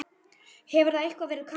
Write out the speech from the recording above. Hefur það eitthvað verið kannað?